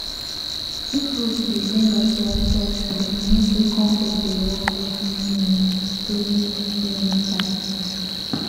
if root dey bring out white white hair e mean say compost dey work well during rainy during rainy time